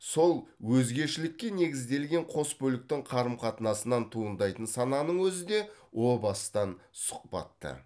сол өзгешілікке негізделген қос бөліктің қарым қатынасынан туындайтын сананың өзі де о бастан сұхбатты